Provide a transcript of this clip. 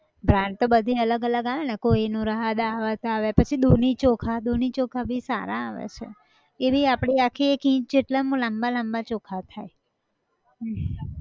brand તો બધી અલગ અલગ આવે ને kohinoor હા dawat આવે પછી દુની ચોખા, દુની ચોખા બી સારા આવે છે, એવી આપડી આખી એક inch જેટલાં અમ લાંબા લાંબા ચોખા થાય